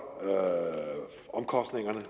omkostningerne